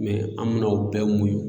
an mi na o bɛɛ muɲu